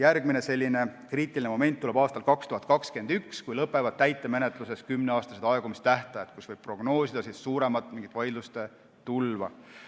Järgmine kriitiline moment tuleb aastal 2021, kui täitemenetluses lõpevad 10-aastased aegumistähtajad ja võib prognoosida vaidluste tulva.